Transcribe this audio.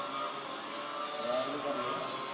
ਰਾਤ ਨੂੰ ਕਰਨੇ ਹਾ